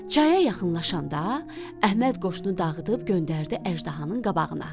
Çaya yaxınlaşanda Əhməd qoşunu dağıdıb göndərdi əjdahanın qabağına.